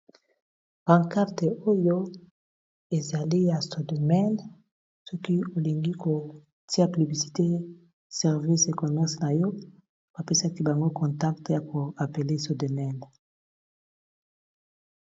bancarte oyo ezali ya astodomane soki olingi kotia pliblisité service e comerce na yo bapesaki bango contacte ya koapele stodomene